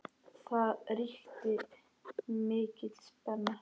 Það ríkti mikil spenna.